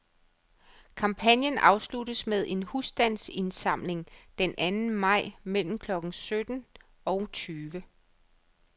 Kampagnen afsluttes med en husstandsindsamling den anden maj mellem klokken sytten og tyve.